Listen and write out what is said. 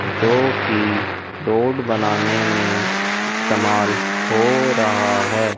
जो कि रोड बनाने में इस्तेमाल हो रहा है।